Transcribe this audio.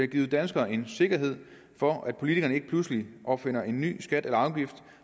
givet danskerne en sikkerhed for at politikerne ikke pludselig opfinder en ny skat eller afgift